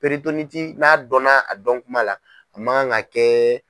n'a dɔnna a dɔn kuma la a ma kan ka kɛ.